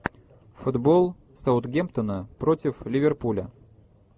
футбол саутгемптона против ливерпуля